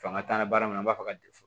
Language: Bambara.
Fanga t'an na baara in na an b'a fɔ ka fɔ